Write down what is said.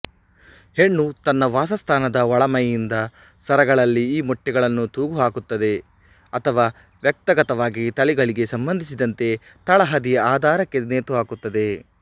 ಹೆಣ್ಣು ತನ್ನ ವಾಸಸ್ಥಾನದ ಒಳಮೈಯಿಂದ ಸರಗಳಲ್ಲಿ ಈ ಮೊಟ್ಟೆಗಳನ್ನು ತೂಗುಹಾಕುತ್ತದೆ ಅಥವ ವ್ಯಕ್ತಗತವಾಗಿ ತಳಿಗಳಿಗೆ ಸಂಬಂಧಿಸಿದಂತೆ ತಳಹದಿಯ ಆಧಾರಕ್ಕೆ ನೇತುಹಾಕುತ್ತದೆ